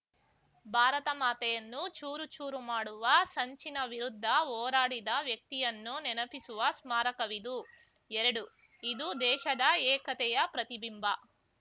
ಭಾರತ ಮಾತೆಯನ್ನು ಚೂರು ಚೂರು ಮಾಡುವ ಸಂಚಿನ ವಿರುದ್ಧ ಹೋರಾಡಿದ ವ್ಯಕ್ತಿಯನ್ನು ನೆನಪಿಸುವ ಸ್ಮಾರಕವಿದು ಎರಡು ಇದು ದೇಶದ ಏಕತೆಯ ಪ್ರತಿಬಿಂಬ